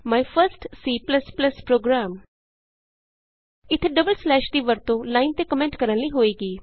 ਮਾਈ first C program ਮੇਰਾ ਪਹਿਲਾ C program ਇਥੇ ਡਬਲ ਸਲੈਸ਼ ਦੀ ਵਰਤੋਂ ਲਾਈਨ ਤੇ ਕੋਮੈਂਟ ਕਰਨ ਲਈ ਹੋਏਗੀ